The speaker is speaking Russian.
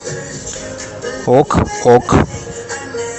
ок ок